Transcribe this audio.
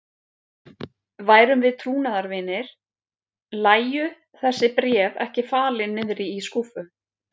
Værum við trúnaðarvinir, lægju þessi bréf ekki falin niðri í skúffu.